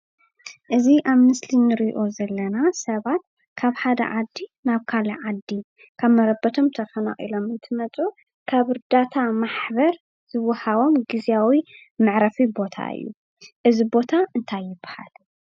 እዚ አብ ምስሊ እንሪኦ ዘለና ሰባት ካብ ሓደ ዓዲ ናብ ካሊእ ዓዲ ካብ መረቦቶም ተፋናቂሎም እንትመፁ ካብ እርዳታ ማሕበር ዝወሃቦም ግዝያዊ መዕረፊ ቦታ እዩ፡፡ እዚ ቦታ እንታይ ይበሃል?